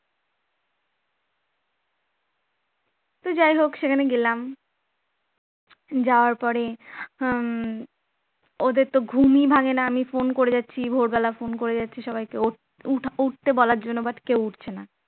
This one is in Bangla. তো যাই হোক সেখানে গেলাম যাওয়ার পরে আহ ওদের তো ঘুম ভাঙে না আমি phone করে যাচ্ছি ভোরবেলা phone করে যাচ্ছি সবাইকে উঠতে বলার জন্য but কেউ উঠছে না